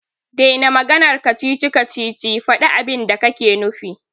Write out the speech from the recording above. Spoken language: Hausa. Dena maganar kacici-kacici, faɗi abinda kake nufi.